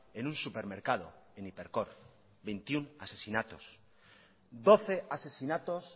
en un supermercado en hipercor veintiuno asesinatos doce asesinatos